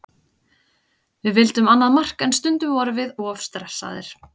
Við vildum annað mark en stundum vorum við of stressaðir.